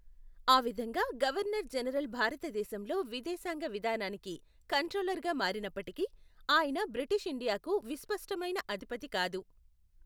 ఆ విధంగా governor general భారతదేశంలో విదేశాంగ విధానానికి కంట్రోలర్గా మారినప్పటికీ, ఆయన బ్రిటిష్ ఇండియాకు విస్పష్టమైన అధిపతి కాదు.